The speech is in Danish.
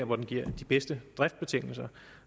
hvor den giver de bedste driftsbetingelser